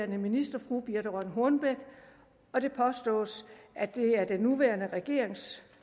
minister fru birthe rønn hornbech og det påstås at det er den nuværende regerings